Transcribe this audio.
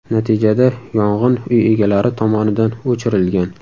Natijada yong‘in uy egalari tomonidan o‘chirilgan.